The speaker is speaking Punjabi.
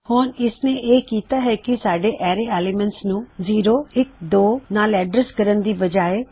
ਹੁਣ ਇਸਨੇ ਇਹ ਕਿੱਤਾ ਹੈ ਕੀ ਬਜਾਏ ਸਾਡੇ ਅਰੈ ਐੱਲਿਮੈਨਟ ਤੋਂ ਜਿਸ ਵਿੱਚ ਵੈਲਯੂ ਜ਼ੀਰੋ ਇੱਕ ਅਤੇ ਦੋ ਸੀ